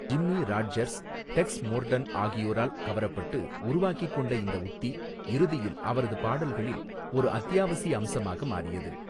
Jimmy Rodgers, Tex Morton ஆகியோரால் கவரப்பட்டு உருவாக்கிக் கொண்ட இந்த உத்தி இறுதியில் அவரது பாடல்களில் ஒரு அத்தியாவசிய அம்சமாக மாறியது.